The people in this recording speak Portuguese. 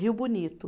Rio Bonito.